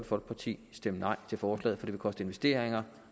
folkeparti stemme nej til forslaget for det vil koste investeringer og